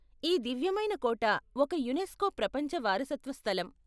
ఈ దివ్యమైన కోట ఒక యునెస్కో ప్రపంచ వారసత్వ స్థలం.